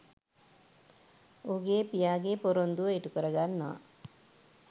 ඔහුගේ පියාගේ පොරොන්දුව ඉටුකර ගන්නවා